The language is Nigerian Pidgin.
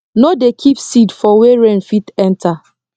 no dey keep seed for wer rain fit enter